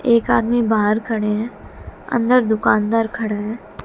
एक आदमी बाहर खड़े हैं अंदर दुकानदार खड़े हैं।